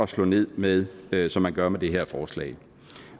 slået ned med den som man gør med det her forslag